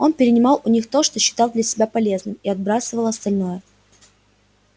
он перенимал у них то что считал для себя полезным и отбрасывал остальное